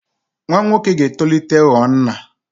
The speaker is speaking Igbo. Nwa nwoke ga-etolite ghọọ nna.